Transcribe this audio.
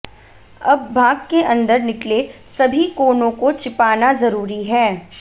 अब भाग के अंदर निकले सभी कोनों को छिपाना जरूरी है